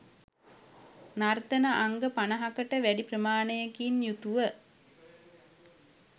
නර්තන අංග පනහකට වැඩි ප්‍රමාණයකින් යුතුව